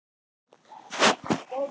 Doddi og Halla!